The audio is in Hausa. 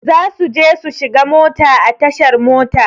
Zasu je su shiga mota a tashar mota.